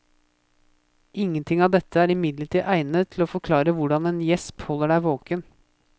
Ingenting av dette er imidlertid egnet til å forklare hvordan en gjesp holder deg våken.